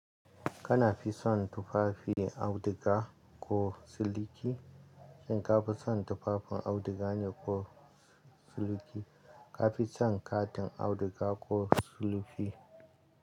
Kana fi son tufafin auduga ko siliki? In ka fi son tufafin auduga ne ko siliki, ka fi son katin auduga ko siliki.